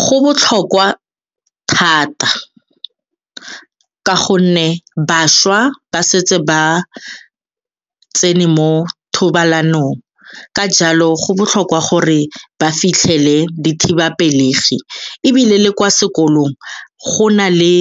Go botlhokwa thata ka gonne bašwa ba setse ba tsene mo thobalanong, ka jalo go botlhokwa gore re ba fitlhele dithibapelegi ebile le kwa sekolong go na le